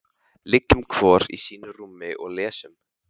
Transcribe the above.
Liggjum hvor í sínu rúmi og lesum.